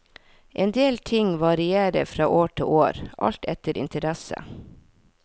En del ting varierer fra år til år, alt etter interesse.